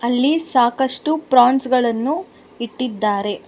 ಇಲ್ಲಿ ಸಾಕಷ್ಟು ಪ್ರಾನ್ಸ್ ಗಳನ್ನು ಇಟ್ಟಿದ್ದಾರೆ.